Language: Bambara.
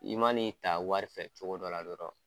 I man'i ta wari fɛ cogo dɔ la dɔrɔn.